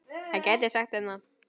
Hann gæti sagt þeim það.